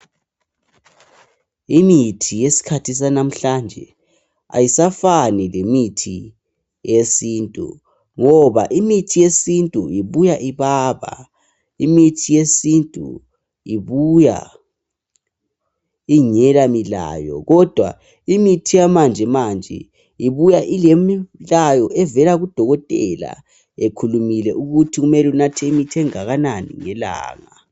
Imithi yesikhathi sanamhlanje ayisafani lemithi yesintu ngoba imithi yesintu ibuya ibaba imithi yesintu ibuya ingela ilayo kodwa imithi yamanje manje ibuya ilemilayo evela kudokotela ekhulumile ukuthi kumele unathe imithi engakanani ngelanga.